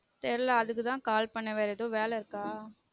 தெரில அதுக்கு தான் call பண்ணுன வேற எதுவும் வேல இருக்கா